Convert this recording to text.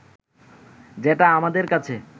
যেটা আমাদের কাছে